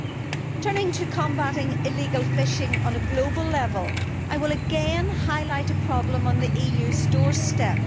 Turning to the question of combating illegal fishing on a global level, I will again highlight a problem on the EU's doorstep